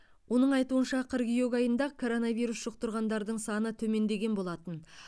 оның айтуынша қыркүйек айында коронавирус жұқтырғандардың саны төмендеген болатын